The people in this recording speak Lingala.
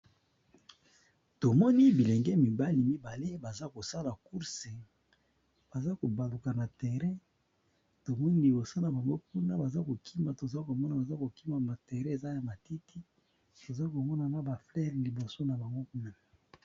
Tomoni bilenge mibali bazo kima tomoni bazo sala sport ya kokima